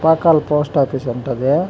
post office అంట అది--